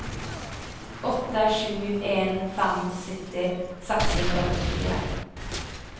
åtte sju en fem sytti seks hundre og førtifire